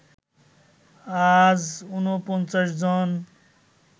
আজ ৪৯ জন